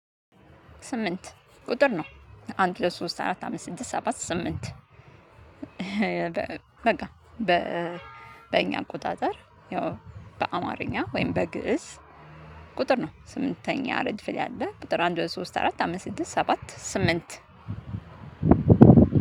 ስምንት ቁጥር ነው አንድ ሶስት አራት አምስት ስድስት ሰባት ስምንት። በቃ በእኛ አቆጣጠር ያው በአማርኛ ወይም በግእዝ ቁጥር ነው። ስምንተኛ ረድፍ ላይ ያለ ቁጥር አንድ ሁለት ሶስት አራት አምስት ስድስት ሰባት ስምንት።